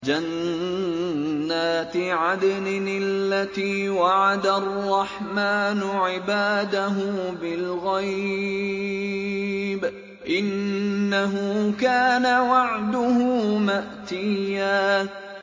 جَنَّاتِ عَدْنٍ الَّتِي وَعَدَ الرَّحْمَٰنُ عِبَادَهُ بِالْغَيْبِ ۚ إِنَّهُ كَانَ وَعْدُهُ مَأْتِيًّا